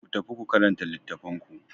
Ku tafi ku karanta littattafan ku.